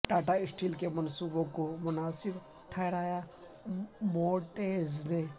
Tata steel کے منصوبوں کو مناسب ٹھہرایا موڈیز نے